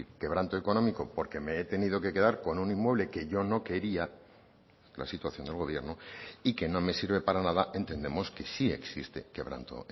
quebranto económico porque me he tenido que quedar con un inmueble que yo no quería la situación del gobierno y que no me sirve para nada entendemos que sí existe quebranto